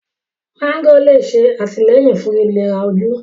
mágò lè ṣe àtìlẹ́yìn fún ìléra ojú.